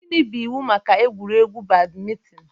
Gịnị bụ iwu maka egwuregwu badminton?